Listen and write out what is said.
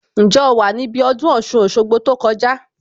Ǹjẹ́ o wà níbí ọdún Ọ̀ṣun Òṣogbo tó kọjá